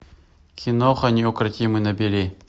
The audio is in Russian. киноха неукротимый набери